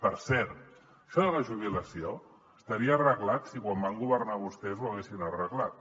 per cert això de la jubilació estaria arreglat si quan van governar vostès ho haguessin arreglat